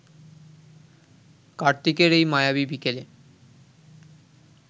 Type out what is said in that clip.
কার্তিকের এই মায়াবী বিকেলে